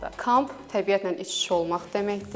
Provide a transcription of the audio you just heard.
Kamp təbiətlə iç-içə olmaq deməkdir.